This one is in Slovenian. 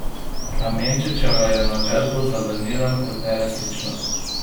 Klemenčičeva je navedbo zavrnila kot neresnično.